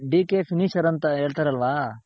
DK finisher ಅಂತ ಹೇಳ್ತರಲ್ವ.